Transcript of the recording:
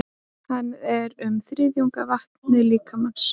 Hann er um þriðjungur af vatni líkamans.